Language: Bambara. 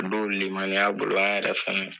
lemaniya bolo an yɛrɛ fɛnɛ